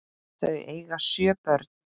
Þau eiga sjö börn.